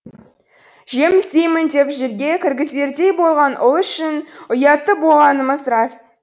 жем іздеймін деп жерге кіргізердей болған ұл үшін ұятты болғанымыз рас